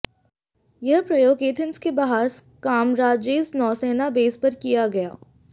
यह प्रयोग एथेंस के बाहर स्कारामजेस नौसेना बेस पर किया गया